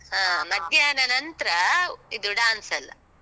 ಹ. ಮಧ್ಯಾಹ್ನ ನಂತ್ರ ಇದು dance ಎಲ್ಲ.